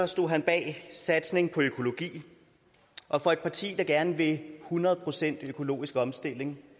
stod han bag en satsning på økologi og for et parti der gerne vil hundrede procent økologisk omstilling